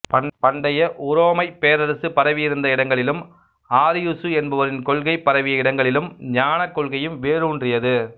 பண்டைய உரோமைப் பேரரசு பரவியிருந்த இடங்களிலும் ஆரியுசு என்பவரின் கொள்கை பரவிய இடங்களிலும் ஞானக் கொள்கையும் வேரூன்றியது